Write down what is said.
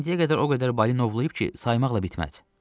İndiyə qədər o qədər balinovlayıb ki, saymaqla bitməz.